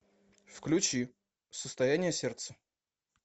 включи состояние сердца